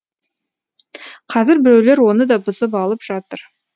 қазір біреулер оны да бұзып алып жатыр